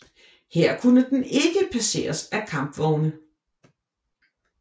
Her kunne den ikke passeres af kampvogne